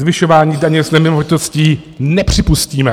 Zvyšování daně z nemovitostí nepřipustíme.